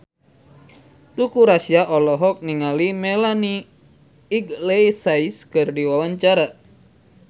Teuku Rassya olohok ningali Melanie Iglesias keur diwawancara